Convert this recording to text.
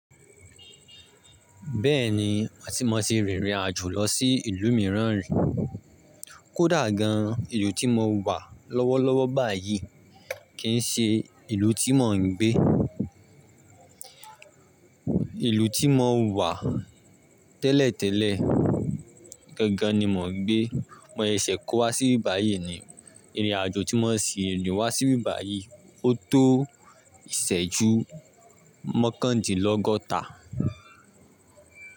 Bẹ́ẹ̀ni, àti mo ti rìnrìn àjò lọ sí ìlú mìíràn rí. Kódà gan-an ìlú tí mo wà lọ́wọ́lọ́wọ́ báyìí kì í ṣe ìlú tí mò ń gbé. Ìlú tí mo wà tẹ́lẹ̀tẹ́lẹ̀ gangan ni mò ń gbé. Mọ sese k9 wa báyìí ko wa ni. Ìrìn àjò tí mo n sì ní wá síbi báyìí, ó tó ìsẹ́jú mọ́kàndínlọ́gọ́ta.